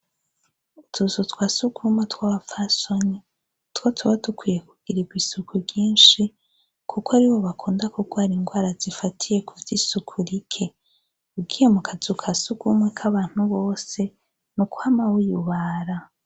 Utuzu twa surwumwe tw'abapfasoni nitwo tuba dukwiye kugirirwa isuku ryinshi kuko aribo bakunda kugwara ingwara z'isuku rike ugiye mu kazu ka surwumwe k'abantu bose n'ukwama wiyubara.